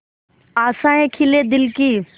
आशाएं खिले दिल की